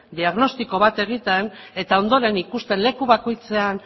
diagnostiko bat egiten eta ondoren ikustea leku bakoitzean